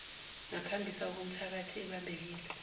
ngakhamisa okomthakathi ebambekile